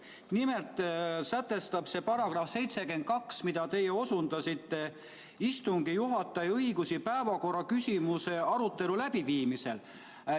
Nimelt sätestab see § 72, mida teie osundasite, istungi juhataja õigusi päevakorraküsimuse arutelu läbiviimisel.